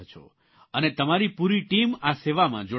અને તમારી પૂરી ટીમ આ સેવામાં જોડાયેલી છે